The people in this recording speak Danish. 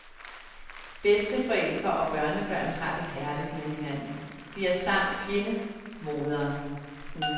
Bedsteforældre og børnebørn har det herligt med hinanden, de har samme fjende, moderen.